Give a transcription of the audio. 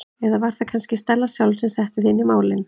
Eða var það kannski Stella sjálf sem setti þig inn í málin?